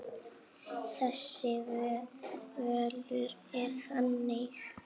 Þessi völlur er þannig.